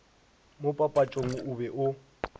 mo papatšong o be o